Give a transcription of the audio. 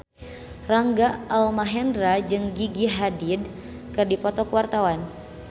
Rangga Almahendra jeung Gigi Hadid keur dipoto ku wartawan